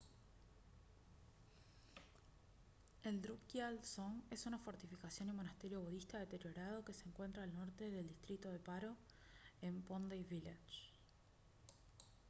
el drukgyal dzong es una fortificación y monasterio budista deteriorado que se encuentra al norte del distrito de paro en phondey village